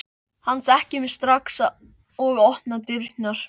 Hann þekkir mig strax og opnar dyrnar.